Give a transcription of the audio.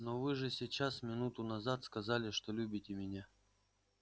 но вы же сейчас минуту назад сказали что любите меня